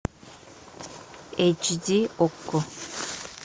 эйч ди окко